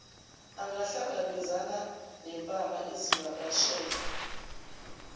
angahlangabezani nempama izivakashela